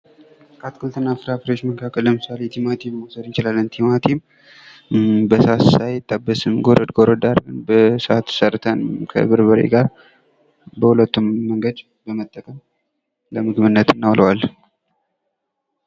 ከአትክልት እና ፍራፍሬዎች ዉስጥ ለምሳሌ ቲማቲምን መውሰድ ይቻላል ቲማቲም በሳት ሳይጠበስ ጎረድ ጎረድ አርገን በሳት ሰርተንም ከበርበሬ ጋር በሁለቱም መንገድ በመጠቀም ለምግብነት እናውለዋለን::